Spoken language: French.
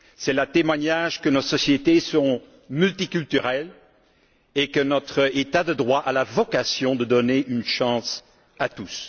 Cela prouve que nos sociétés sont multiculturelles et que notre état de droit a la vocation de donner une chance à tous.